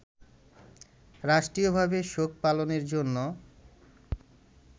রাষ্ট্রীয়ভাবে শোক পালনের জন্য